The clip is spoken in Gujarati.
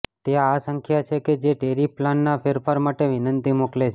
તે આ સંખ્યા છે કે જે ટેરિફ પ્લાનના ફેરફાર માટે વિનંતી મોકલે છે